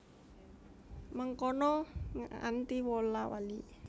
Mengkono nganti wola wali